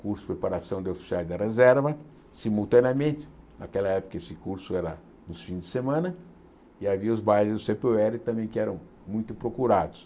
curso de preparação de oficiais da reserva, simultaneamente, naquela época esse curso era nos fins de semana, e havia os bairros do cê pê ó érre também que eram muito procurados.